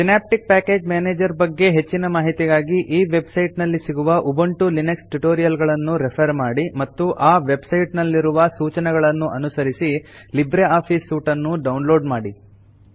synaptic package manager ಬಗ್ಗೆ ಹೆಚ್ಚಿನ ಮಾಹಿತಿಗಾಗಿ ಈ ವೆಬ್ ಸೈಟ್ ನಲ್ಲಿ ಸಿಗುವ ಉಬುಂಟು ಲಿನಕ್ಸ್ ಟ್ಯುಟೋರಿಯಲ್ ಗಳನ್ನು ರೆಫರ್ ಮಾಡಿ ಮತ್ತು ಆ ವೆಬ್ ಸೈಟ್ ನಲ್ಲಿ ರುವ ಸೂಚನೆಗಳನ್ನು ಅನುಸರಿಸಿ ಲಿಬ್ರೆ ಆಫೀಸ್ ಸೂಟ್ ನ್ನು ಡೌನ್ ಲೋಡ್ ಮಾಡಿ